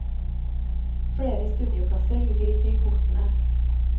Flere studieplasser ligger ikke i kortene.